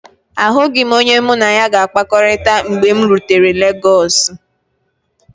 Ahụghị m onye mụ na ya ga-akpakọrịta mgbe m rutere Legọsu.